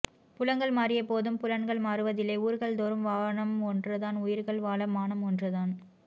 புலங்கள் மாறிய போதும் புலன்கள் மாறுவதில்லை ஊர்கள் தோறும் வானம் ஒன்றுதான் உயிர்கள் வாழ மானம் ஒன்றுதான்